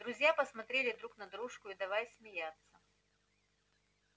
друзья посмотрели друг на дружку и давай смеяться